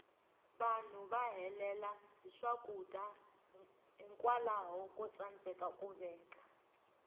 vanhu va helela hi swakudya hikwalaho ko tsandeka ku veka